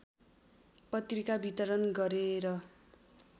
पत्रिका वितरण गरेर